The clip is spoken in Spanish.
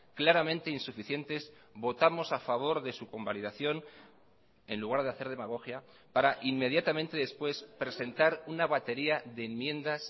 claramente insuficientes votamos a favor de su convalidación en lugar de hacer demagogia para inmediatamente después presentar una batería de enmiendas